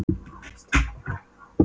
Hallsteinn, hvað er í matinn?